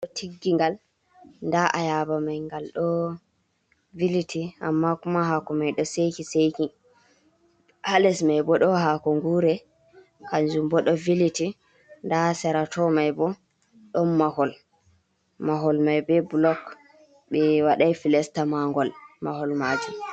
tiggi ngal nda ayaaba mai ngal ɗo viliti amma kuma hako mai ɗo seki seki hales mai bo ɗo hako ngure kanjum bo ɗo viliti nda serato mai bo don mahol mahol mai be blog be wadai filesta mangol mahol majum